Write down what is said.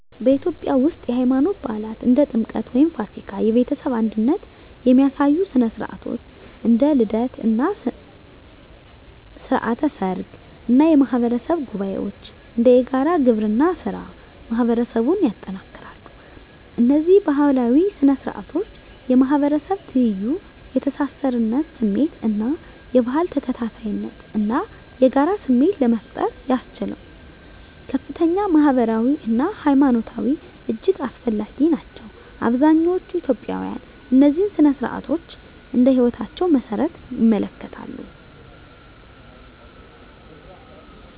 በኢትዮጵያ ውስጥ፣ የሃይማኖት በዓላት (እንደ ጥምቀት ወይም ፋሲካ)፣ የቤተሰብ አንድነት የሚያሳዩ ሥነ ሥርዓቶች (እንደ ልደት እና ሥርዓተ ሰርግ) እና የማህበረሰብ ጉባኤዎች (እንደ የጋራ ግብርና ሥራ) ማህበረሰቡን ያጠናክራሉ። እነዚህ ባህላዊ ሥነ ሥርዓቶች የማህበረሰብ ትይዩ፣ የተሳሳርነት ስሜት እና የባህል ተከታታይነት እና የጋራ ስሜት ለመፍጠር ያስችሉ ከፍተኛ ማህበራዊ አና ሀይማኖታዊ እጅግ አስፈላጊ ናቸው። አብዛኛዎቹ ኢትዮጵያውያን እነዚህን ሥነ ሥርዓቶች እንደ ህይወታቸው መሰረት ይመለከታሉ።